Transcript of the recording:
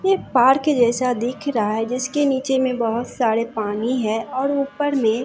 ये पार्क के जैसा दिख रहा है जिसके नीचे मे बहोत साडे पानी है और उपर मे--